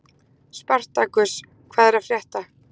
Spartakus, hvað er að frétta?